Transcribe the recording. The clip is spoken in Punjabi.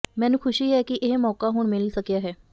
ਮੈਨੂੰ ਖੁਸ਼ੀ ਹੈ ਕਿ ਇਹ ਮੌਕਾ ਹੁਣ ਮਿਲ ਸਕਿਆ ਹੈ